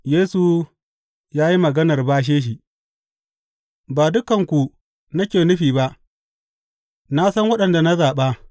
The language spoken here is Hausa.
Yesu ya yi maganar bashe shi Ba dukanku nake nufi ba; na san waɗanda na zaɓa.